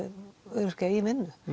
öryrkja í vinnu